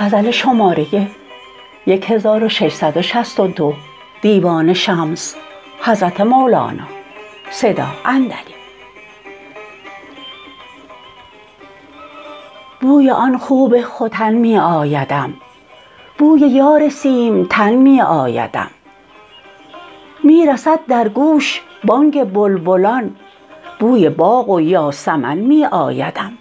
بوی آن خوب ختن می آیدم بوی یار سیمتن می آیدم می رسد در گوش بانگ بلبلان بوی باغ و یاسمن می آیدم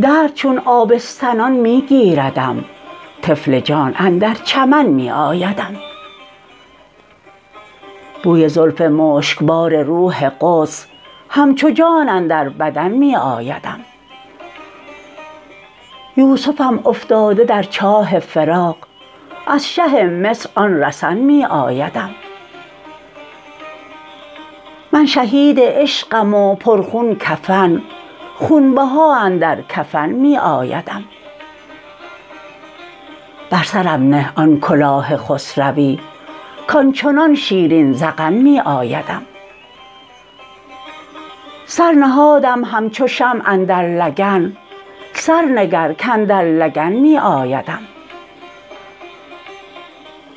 درد چون آبستنان می گیردم طفل جان اندر چمن می آیدم بوی زلف مشکبار روح قدس همچو جان اندر بدن می آیدم یوسفم افتاده در چاه فراق از شه مصر آن رسن می آیدم من شهید عشقم و پرخون کفن خونبها اندر کفن می آیدم بر سرم نه آن کلاه خسروی کان چنان شیرین ذقن می آیدم سر نهادم همچو شمع اندر لگن سر نگر کاندر لگن می آیدم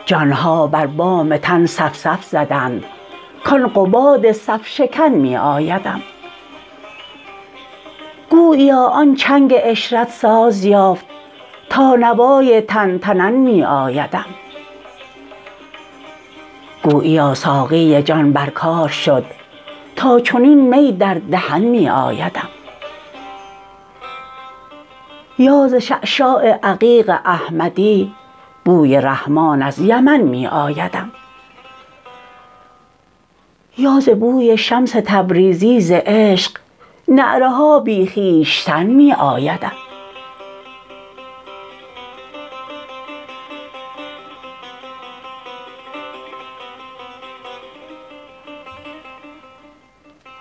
جان ها بر بام تن صف صف زدند کان قباد صف شکن می آیدم گوییا آن چنگ عشرت ساز یافت تا نوای تن تنن می آیدم گوییا ساقی جان بر کار شد تا چنین می در دهن می آیدم یا ز شعشاع عقیق احمدی بوی رحمان از یمن می آیدم یا ز بوی شمس تبریزی ز عشق نعره ها بی خویشتن می آیدم